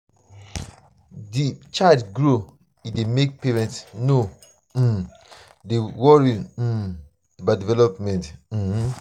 di child grow e dey make parents no um dey worried um about development um